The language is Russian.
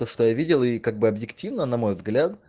видела и как бы объективно на мой взгляд